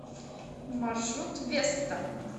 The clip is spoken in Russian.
маршрут веста